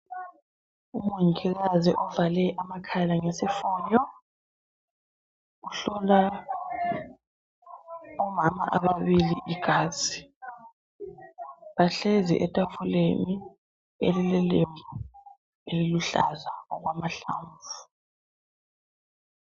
Umongikazi ovale amakhala ngesifonyo uhlola omama ababili igazi bahlezi etafuleni elile lembu eliluhlaza okwamahlamvu.